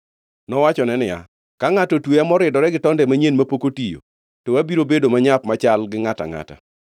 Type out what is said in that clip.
Nowachone niya, “Ka ngʼato otweya moridore gi tonde manyien mapok otiyo, to abiro bedo manyap machal gi ngʼato angʼata.”